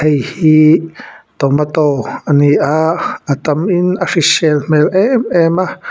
ihi tomato a ni a a tamin a hrisel hmelh em em a.